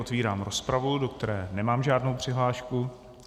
Otevírám rozpravu, do které nemám žádnou přihlášku.